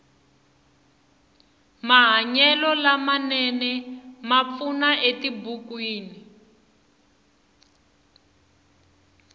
mahanyelo lama nene ma pfuna etibukwini